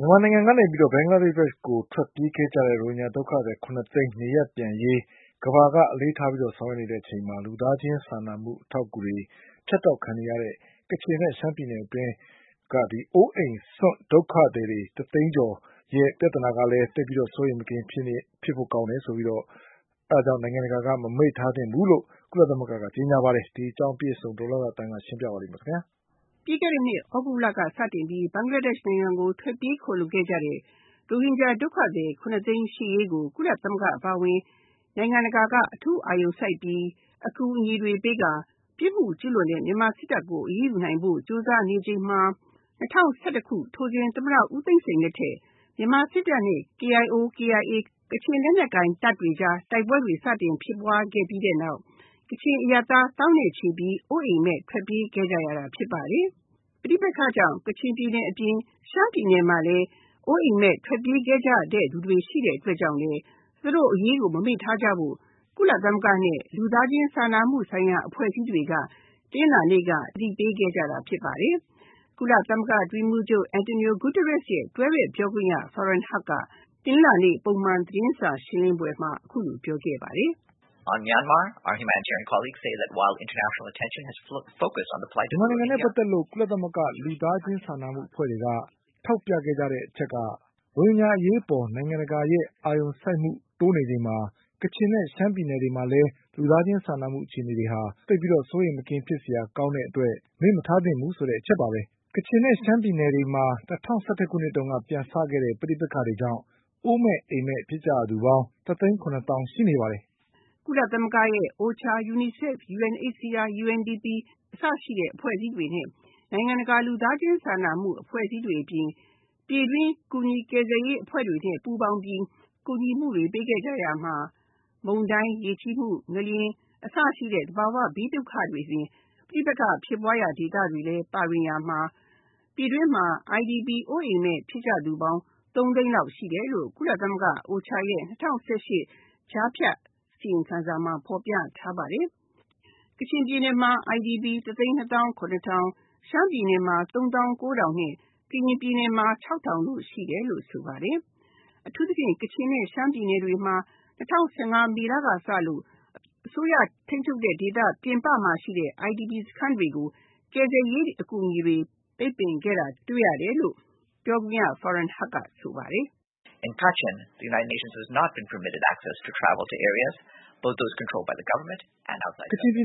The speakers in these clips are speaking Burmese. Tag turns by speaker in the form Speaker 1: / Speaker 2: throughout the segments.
Speaker 1: မြန်မာနိုင်ငံကနေ ဘင်္ဂလားဒေ့ရှ်နိုင်ငံကို ထွက်ပြေးခိုလုံခဲ့ကြတဲ့ ရိုဟင်ဂျာ ဒုက္ခသည် ၇ သိန်းနေရပ်ပြန်ရေး ကမ္ဘာကအလေးထားပြီးတော့ ဆောင်ရွက်နေချိန်မှာ လူသားချင်းစာနာမှုဖြတ်တောက်ခံနေရတဲ့ ကချင်နဲ့ ရှမ်းပြည်နယ်အတွင်းက အိုးအိမ်စွန့် ဒုက္ခသည် ၁ သိန်းကျော်ရဲ့ ပြဿနာကလည်း သိပ်ပြီးတော့ စိုးရိမ်မကင်းဖြစ်ဖို့ကောင်းကြောင်း၊ အဲဒါကြောင့်နိုင်ငံတကာကလည်း မပိတ်ထားသင့်ဘူးလို့ ကုလသမဂ္ဂကကြေညာပါတယ်။ ဒီအကြောင်းအပြည့်အစုံဒေါ်လှလှသန်းက ပြောပြမှာပါ။
Speaker 2: ပြီးခဲ့တဲ့နှစ် သြဂုတ်လက စတင်ပြီး ဘင်္ဂလားဒေ့ရှ်နိုင်ငံကို ထွက်ပြေးခိုလုံခဲ့ကြတဲ့ ရိုဟင်ဂျာ ဒုက္ခသည် ၇ သိန်းရှေ့ရေးကို ကုလသမဂ္ဂအပါအဝင် နိုင်ငံတကာက အထူးအာရုံစိုက်ပြီး အကူအညီပေးကာ ပြစ်မှုကျူးလွန်တဲ့ မြန်မာစစ်တပ်ကို အရေးယူနိုင်ဖို့ ကြိုးစားနေချိန်မှာ ၂၀၁၁ ခုနှစ် ထိုစဉ် သမ္မတ ဦးသိန်းစိန်လက်ထက် မြန်မာစစ်တပ်နဲ့ KIO/KIA ကချင်လက်နက်ကိုင်တပ်တွေကြား တိုက်ပွဲတွေစတင်ဖြစ်ပွားခဲ့ပြီးနောက် ကချင်အရပ်သား သောင်းနဲ့ချီ အိုးအိမ်မဲ့ ထွက်ပြေးခဲ့ကြရတာဖြစ်ပါတယ်။ ပဋိပက္ခကြောင့် ကချင်ပြည်နယ်အပြင် ရှမ်းပြည်နယ်မှာလည်း အိုးအိမ်မဲ့ထွက်ပြေးခဲ့ကြတဲ့သူတွေရှိတဲ့အတွက်ကြောင့်လည်း သူတို့အရေးကို မမေ့ထားကြဖို့ ကုလ နဲ့ လူသားချင်းစာနာမှုဆိုင်ရာ အဖွဲ့အစည်းတွေက တနင်္လာနေ့က အသိပေးခဲ့ကြတာဖြစ်ပါတယ်။ ကုလသမဂ္ဂအတွင်းရေးမှူးချုပ် Antonio Guterres ရဲ့ တွဲဖက်ပြောခွင့်ရ ဖာရင်ဟတ်က တနင်္လာနေ့က ပုံမှန်သတင်းစာရှင်းလင်းပွဲမှာ အခုလိုပြောခဲ့ပါတယ်
Speaker 3: ။ “မြန်မာနိုင်ငံနဲ
Speaker 1: ့ ပတ်သက်လို့ ကုလ..လူသားချင်းစာနာမှုဆိုင်ရာ အဖွဲ့အစည်းတွေက ထောက်ပြခဲ့ကြတဲ့ အချက်က ရိုဟင်ဂျာအရေးအပေါ် နိုင်ငံတကာရဲ့အာရုံစိုက်မှု တိုးနေချိန်မှာ ကချင်နဲ့ ရှမ်းပြည်နယ်မှာလည်း လူသားချင်းစာနာမှုအခြေအနေတွေဟာ သိပ်ပြီးတော့ စိုးရိမ်မကင်းဖြစ်စရာကောင်းတဲ့အတွက် မေ့မထားသင့်ဘူးဆိုတဲ့အချက်ပါပဲ။ ကချင်နဲ့ ရှမ်းပြည်နယ်တွေမှာ ၂၀၁၁ ခုနှစ်တုန်းက ပြန်စခဲ့တဲ့ ပဋိပက္ခကြောင့် အိုးမဲ့အိမ်မဲ့ ဖြစ်ကြရသူပေါင်း ၁ သိန်း ၇ သောင်းရှိနေပါတယ်။
Speaker 2: ကုလ..ရဲ့ OCHA UNICEF UNHCR UNDP အစရှိတဲ့ အဖွဲ့အစည်းတွေနဲ့ နိုင်ငံတကာ လူသားချင်းစာနာမှုအဖွဲ့အစည်းတွေအပြင် ပြည်တွင်း ကူညီကယ်ဆယ်ရေးအဖွဲ့တွေနဲ့ ပူးပေါင်းပြီး ကူညီမှုတွေ ပေးခဲ့ကြရာမှာ မုန်တိုင်း၊ ရေကြီးမှု၊ ငလျင် အစရှိတဲ့ သဘာဝဘေးဒုက္ခတွေ အပြင် ပဋိပက္ခဖြစ်ပွားရာ ဒေသတွေလည်း ပါဝင်ရာမှာ ပြည်တွင်းမှာ IDP အိုးအိမ်မဲ့ ဖြစ်သူပေါင်း ၃ သိန်းလောက်ရှိတယ်လို့ ကုလသမဂ္ဂ OCHA ရဲ့ ၂၀၁၈ ကြားဖြတ် အစီရင်ခံစာမှာ ဖော်ပြထားပါတယ်။ ကချင်ပြည်နယ်မှာ IDP ၁ သိန်း ၂ သောင်း ၇ ထောင်၊ ရှမ်းပြည်နယ်မှာ ၃ သောင်းကိုးထောင်နဲ့ ကရင်မှာ ၆၀၀၀ ရှိတယ်လို့ ဆိုပါတယ်။ အထူးသဖြင့် ကချင်နဲ့ ရှမ်းပြည်နယ်မှာ ၂၀၁၅ မေလကစလို့ အစိုးရထိန်းချုပ်တဲ့ဒေသ ပြင်ပမှာရှိတဲ့ IDP စခန်းတွေကို ကယ်ဆယ်ရေးအကူအညီတွေ ပိတ်ပင်ခဲ့တာ တွေ့ရတယ်လို့ ပြောခွင့်ရ ဖာရင်ဟတ်က ဆိုပါတယ်
Speaker 3: ။ “ကချင်
Speaker 1: ပြည်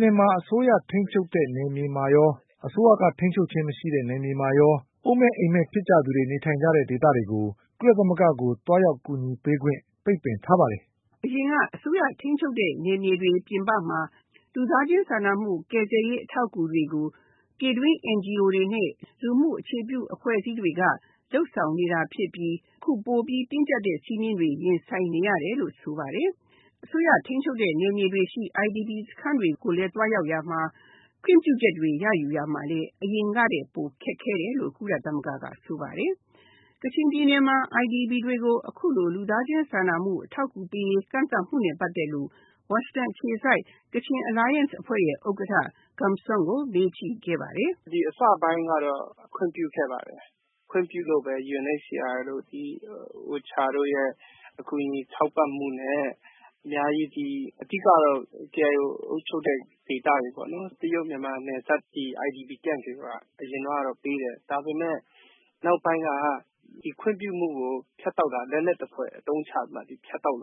Speaker 1: နယ်မှာ အစိုးရထိန်းချုပ်တဲ့ နယ်မြေမှာရော၊ အစိုးရထိန်းချုပ် ခြင်းမရှိတဲ့နယ်မြေမှာရော၊ အိုးအိမ်မဲ့ ဖြစ်သူတွေ နေထိုင်တဲ့ ဒေသတွေကို ကုလသမဂ္ဂကို သွားရောက်ကူညီပေးခွင့် ပိတ်ပင်ထားပါတယ်
Speaker 2: ။” အရင်က အစိုးရထိန်းချုပ်တဲ့ နယ်မြေတွေပြင်ပမှာ လူသားချင်းစာနာမှုကယ်ဆယ်ရေးအထောက်အကူတွေကို ပြည်တွင်း NGO တွေနဲ့ လူမှုအခြေပြုအဖွဲ့တွေက လုပ်ဆောင်နေတာဖြစ်ပြီး အခုပိုပြီးတင်းကျပ်တဲ့ စည်းမျဉ်းတွေ ရင်ဆိုင်နေရတယ်လို့ ဆိုပါတယ်။ အစိုးရထိန်းချုပ်တဲ့ နယ်မြေတွေရှိ IDP စခန်းတွေကို သွားရောက်ရာမှာ ခွင့်ပြုချက်တွေ ယူတာမှာလည်း အရင်ကထက်ပိုပြီး ခက်ခဲတယ်လို့ ကုလသမဂ္ဂကဆိုပါတယ်။ ကချင်ပြည်နယ်မှာ အခုလို IDP တွေကို လူသားချင်းစာနာမှုအထောက်အကူတွေ ကန့်သတ်မှုနဲ့ ပတ်သက်လို့ ဝါရှင်တန်အခြေစိုက် ကချင် Alliance အဖွဲ့ရဲ့ ဥက္ကဋ္ဌ Gum San ကို မေးကြည့်ခဲ့ပါတယ်။
Speaker 3: “ဒီအစပိုင်းကတော့ ခွင့်ပြုခဲ့ပါတယ်။ ခွင့်ပြုလို့ UNHCR တို့ OCHA တို့ရဲ့ အကူအညီ ထောက်ပံ့မှုနဲ့ အများကြီး အဓိကတော့ KIO အုပ်ချုပ်တဲ့ ဒေသတွေ တရုတ်မြန်မာနယ်စပ် IDP ဒေသတွေကို အရင်ကပေးတယ် ဒါပေမယ့် နောက်ပိုင်းက ခွင့်ပြုမှုကို ဖြတ်တောက်တာ လက်နက်သဖွယ်အသုံးချပြီးတော့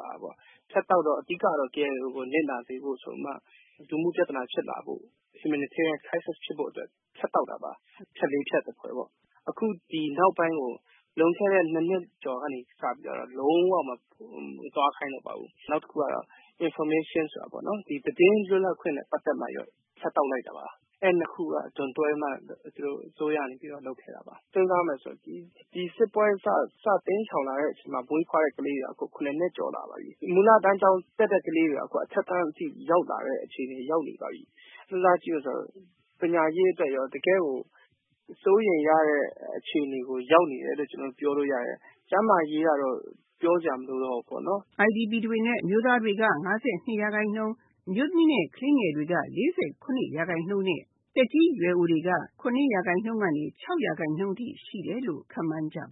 Speaker 3: ဖြတ်တောက်တာတယ်။ အဓိကတော့ KIO ကိုနစ်နာစေဖို့ဆိုပြီးမှ ဒီလိုမျိုး Humanitarian Crisis ဖြစ်ဖို့အတွက် ဖြတ်တောက်တာပါ။ ဖြတ် ၄ ဖြတ်သဖွယ်ပေ့ါ ။ အခုဒီနောက်ပိုင်းကို လွန်ခဲ့တဲ့ ၂ နှစ်ကျော်ကနေစပြီးတော့ လုံး၀ မသွားခိုင်းတော့ပါဘူး။ နောက်တခုကတော့ information ဆိုတာပေါ့နော် သတင်းလွတ်လပ်ခွင့်နဲ့ ပတ်သက်ပြီးတော့မှ ဖြတ်တောက်လိုက်တာပါ။ အဲဒီ ၂ ခုက ဒွန်တွဲပြီးတော့ အစိုးရကနေ လုပ်တာဖြစ်ပါတယ်။ ဒီစစ်ပွဲ စပြီးတော့ တိမ်းရှောင်လာတဲ့အချိန်မှာ မွေးဖွားတဲ့ကလေးတွေက ၇ နှစ်ကျော်လာပါပြီ။ မူလတန်းကျောင်း တက်တဲ့ကလေးတွေက အထက်တန်းအထိ ရောက်လာတဲ့အခြေအနေ ရောက်နေပါပြီ။ စဉ်းစားကြည့်မယ်ဆိုရင် ပညာရေးအတွက်ရော တကယ်ကို စိုးရိမ်ရတဲ့ အခြေအနေကို ရောက်နေတယ်လို့ ကျနော်တို့ ပြောလို့ရပါတယ်၊ ကျန်းမာရေးကတော့ ပြောစရာမလိုတော့ဘူးပေါ့နော်”
Speaker 2: IDP တွေမှာ အမျိုးသားတွေက ၅၂ ရာခိုင်နှုန်း အမျိုးသမီးနဲ့ ကလေးငယ်တွေက ၄၂ ရာခိုင်နှုန်း နဲ့ သက်ကြီးရွယ်အိုတွေက ၇ ရာခိုင်နှုန်းကနေ ၆ ရာခိုင်နှုန်းအထိရှိတယ်လို့ ခန့်မှန်းကြပ